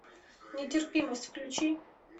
нетерпимость включи